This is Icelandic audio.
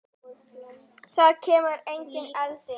Það kemur engin elding.